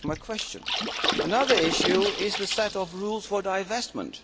That is my question. Another issue is the set of rules for divestment.